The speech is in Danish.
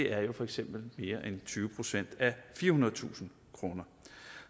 er jo for eksempel mere end tyve procent af firehundredetusind kroner